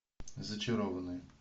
зачарованные